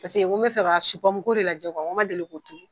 Paseke n ko bɛ fɛ ka de lajɛ, n ko ma deli ko turu